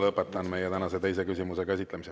Lõpetan meie tänase teise küsimuse käsitlemise.